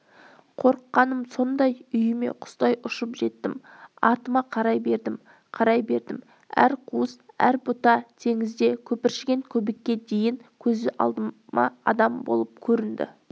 қорыққаным сондай үйіме құстай ұшып жеттім артыма қарай бердім қарай бердім әр қуыс әр бұта теңізде көпіршіген көбікке дейін көзіме адам болып